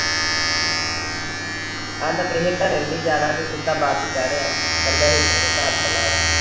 ਕਹਿੰਦਾ ਕਿਸੇ ਦੇ ਘਰੀ ਵੀ ਜਾਣਾ ਤੇ ਸਿੱਧਾ ਬਸ ਚੜਿਆ ਇਕੱਲੇ ਉਤਰਿਆ ਘਰ ਤੋਂ ਇਾਲਵਾ